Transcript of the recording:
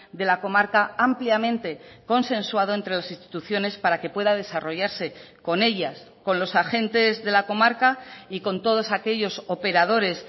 de la comarca ampliamente consensuado entre las instituciones para que pueda desarrollarse con ellas con los agentes de la comarca y con todos aquellos operadores